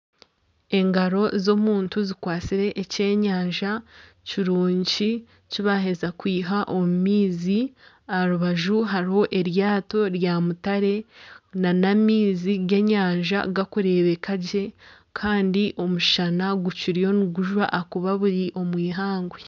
Engaro z'omuntu zikwasire ekyenyanja kirungi kibaheza kwiha omu maizi. Aha rubaju hariho eryato ryamutare n'amaizi g'enyanja gakurebeka gye kandi omushana gukiryo nigujwa ahakuba bukiri omwihangwe.